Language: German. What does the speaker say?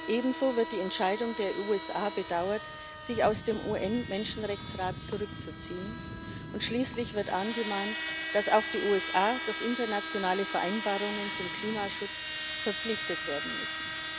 Ebenso wird die Entscheidung der USA bedauert, sich aus dem UN Menschenrechtsrat zurückzuziehen, und schließlich wird angemahnt, dass auch die USA durch internationale Vereinbarungen zum Klimaschutz verpflichtet werden müssen.